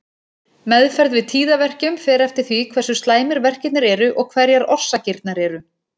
Meðferð við tíðaverkjum fer eftir því hversu slæmir verkirnir eru og hverjar orsakirnar eru.